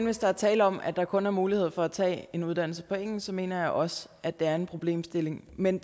hvis der er tale om at der kun er mulighed for at tage en uddannelse på engelsk så mener jeg også at der er en problemstilling men